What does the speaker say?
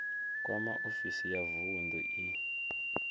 kwama ofisi ya vunḓu i